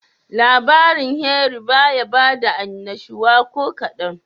Labarin Henry bayi bada annashuwa kokadan.